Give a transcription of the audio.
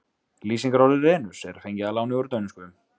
Lýsingarorðið renus er fengið að láni úr dönsku.